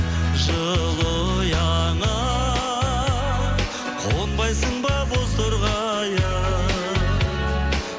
жылы ұяңа қонбайсың ба бозторғайым